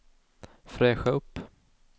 fräscha upp